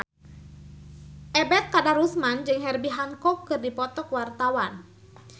Ebet Kadarusman jeung Herbie Hancock keur dipoto ku wartawan